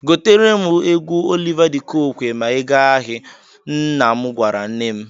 "Goteere m egwu Oliva di Kokwe ma ị gaa ahị," nna m gwara nne m.